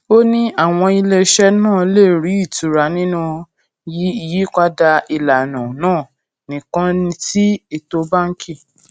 ó ní àwọn iléeṣẹ náà lè rí ìtura nínú yípadà ìlànà náà nìkan tí ètò báńkì